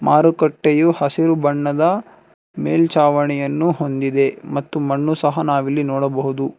ಮಾರುಕ್ಕಟ್ಟೆಯ ಹಸಿರು ಬಣ್ಣದ ಮೇಲ್ಚಾವಣಿಯನ್ನು ಹೊಂದಿದೆ ಮತ್ತು ಮಣ್ಣು ಸಹ ನಾವು ಎಲ್ಲಿ ನೋಡಬಹುದು.